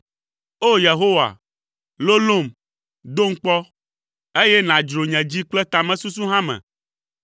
O! Yehowa, lolom, dom kpɔ; eye nàdzro nye dzi kple tamesusu hã me,